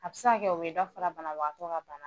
A bi se ka kɛ o bidɔ fana banabagatɔ ka bana